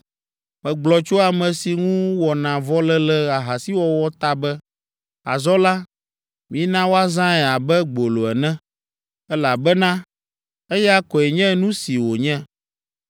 Megblɔ tso ame si ŋu wɔna vɔ le le ahasiwɔwɔ ta be, ‘Azɔ la, mina woazãe abe gbolo ene, elabena eya koe nye nu si wònye.’